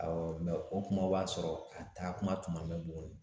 Awɔ o kuma b'a sɔrɔ a taakuma tun ma mɛɛn Buguni